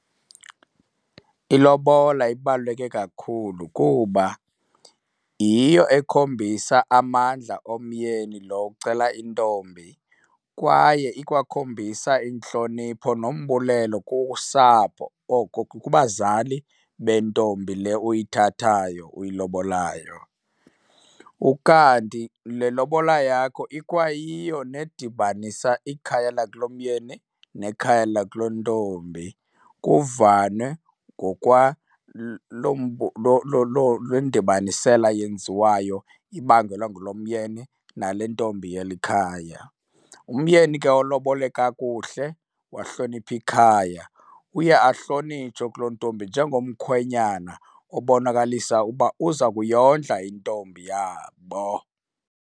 Ilobola ibaluleke kakhulu kuba yiyo ekhombisa amandla omyeni lo ucela intombi kwaye ikwakhombisa intlonipho nombulelo kusapho, oko kubazali bentombi le uyithathayo uyilobolayo. Ukanti le lobola yakho ikwayiyo nedibanisa ikhaya lakulomyeni nekhaya lakulontombi, kuvanwe le ndibanisela yenziwayo ibangelwa ngulo myeni nale ntombi yeli khaya. Umyeni ke olobole kakuhle wahlonipha ikhaya, uye ahlonitshwe kulo ntombi njengomkhwenyana obonakalisa uba uza kuyondla intombi yabo.